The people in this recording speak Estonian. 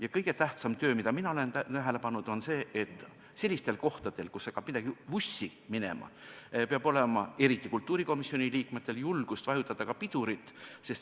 Ja kõige tähtsam töö, mida mina olen tähele pannud, on see, et kui midagi hakkab vussi minema, siis peab eriti kultuurikomisjoni liikmetel olema julgust vajutada pidurit.